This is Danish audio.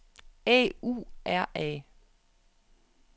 A U R A